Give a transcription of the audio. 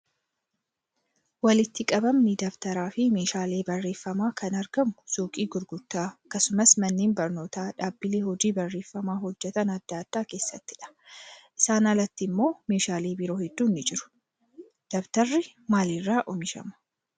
Walitti qabamni dabtaraa fi meeshaalee barreeffamaa kan argamu suuqii gurgurtaa akkasumas manneen barnootaa dhaabbilee hojii barreeffamaa hojjatan adda addaa keessattidha. Isaan alatti immoo meeshaaleen biroo hedduun ni jiru. Dabtarri maalirraa oomishama?